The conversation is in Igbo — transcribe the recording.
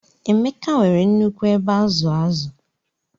Emeka nwere nnukwu ebe azu azu.